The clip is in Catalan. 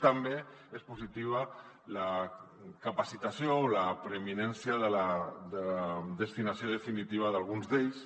també és positiva la capacitació la preeminència de la destinació definitiva d’alguns d’ells